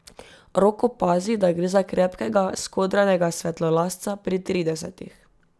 Rok opazi, da gre za krepkega, skodranega svetlolasca pri tridesetih.